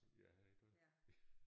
Ja iggå